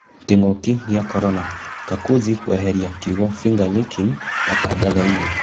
Kĩng'ũki gĩa korona: Kakuzi kweheria kiugo 'Finger Lickin' matangathoinĩ.